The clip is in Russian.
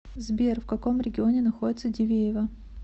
сбер в каком регионе находится дивеево